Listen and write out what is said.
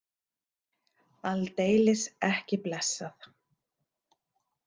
Aldeilis ekki blessað!